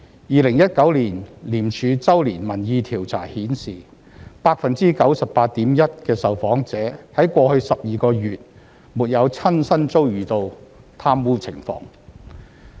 2019年廉署周年民意調查顯示 ，98.1% 的受訪者在過去12個月沒有親身遭遇到貪污情況。